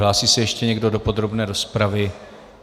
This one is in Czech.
Hlásí se ještě někdo do podrobné rozpravy?